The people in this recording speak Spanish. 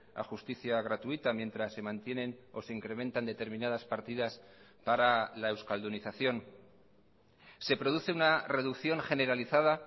a justicia gratuita mientras se mantienen o se incrementan determinadas partidas para la euskaldunización se produce una reducción generalizada